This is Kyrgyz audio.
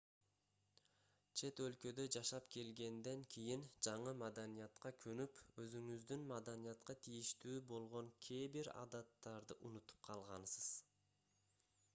чет өлкөдө жашап келгенден кийин жаңы маданиятка көнүп өзүңүздүн маданиятка тийиштүү болгон кээ бир адаттарды унутуп калгансыз